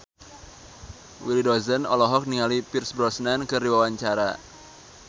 Willy Dozan olohok ningali Pierce Brosnan keur diwawancara